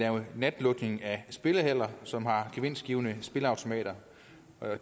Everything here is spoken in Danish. natlukning af spillehaller som har gevinstgivende spilleautomater